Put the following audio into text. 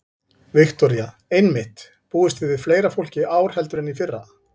Viktoría: Einmitt, búist þið við fleira fólki í ár heldur en í fyrra?